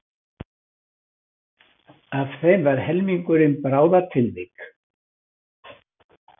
Af þeim var helmingurinn bráðatilvik